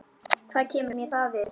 Hvað kemur mér það við?